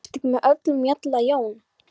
Ertu ekki með öllum mjalla Jón?